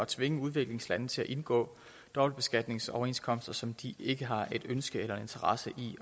tvinge udviklingslande til at indgå dobbeltbeskatningsoverenskomster som de ikke har et ønske eller en interesse i